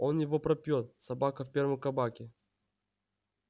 он его пропьёт собака в первом кабаке